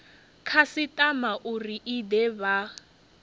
khasitama uri i de vha